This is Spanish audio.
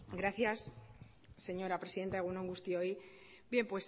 gracias señora presidenta egun on guztioi bien